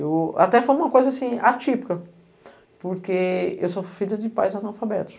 Eu... Até foi uma coisa, assim, atípica, porque eu sou filha de pais analfabetos.